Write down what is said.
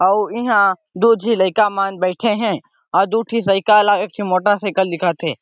आउ ईहा दो झी लइका मन बैठे हे औ दू ठी साइकिल और एक ठो मोटरसाइकिल दिखत हे।